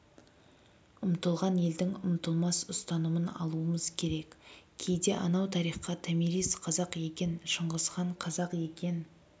ұмтылған елдің ұмытылмас ұстанымын алуымыз керек кейде анау тарихқа томирис қазақ екен шыңғысхан қазақ екен